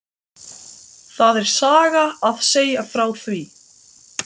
Það er saga að segja frá því.